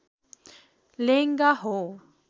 लेङ्गा हो